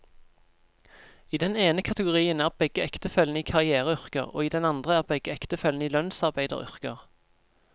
I den ene kategorien er begge ektefellene i karriereyrker, og i den andre er begge ektefellene i lønnsarbeideryrker.